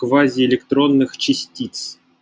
к вазе электронных частиц